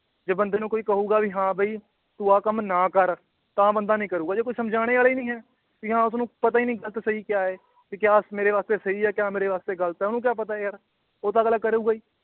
ਜੇ ਬੰਦੇ ਨੂੰ ਕਹੂਗਾ ਵੀ ਹਾਂ ਬਇ ਤੂੰ ਆ ਕੰਮ ਨਾ ਕਰ ਤਾਂ ਬੰਦਾ ਨੀ ਕਰੂਗਾ ਜੇ ਕੋਈ ਸਮਝਾਨੇ ਵਾਲਾ ਈ ਨੀ ਹੈ ਆਂ ਉਸਨੂੰ ਪਤਾ ਈ ਨੀ ਗਲਤ ਸਹੀ ਕਯਾ ਏ ਵੀ ਕਯਾ ਮੇਰੇ ਵਾਸਤੇ ਸਹੀ ਏ ਕਯਾ ਮੇਰੇ ਵਾਸਤੇ ਗਲਤ ਏ ਓਹਨੂੰ ਕਯਾ ਪਤਾ ਏ ਯਾਰ ਉਹ ਤਾਂ ਅਗਲਾ ਕਰੂਗਾ ਈ